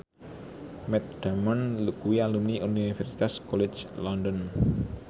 Matt Damon kuwi alumni Universitas College London